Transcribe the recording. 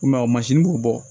I m'a ye b'u bɔ